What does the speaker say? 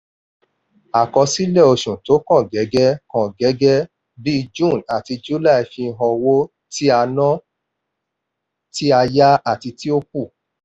àkọsílẹ̀ oṣù tó kàn gẹ́gẹ́ kàn gẹ́gẹ́ bí june àti july fihan owó tí a ná tí a yá àti tó kù.